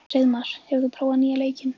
Hreiðmar, hefur þú prófað nýja leikinn?